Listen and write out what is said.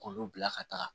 K'olu bila ka taa